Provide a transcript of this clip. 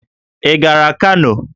Ị gara Kano?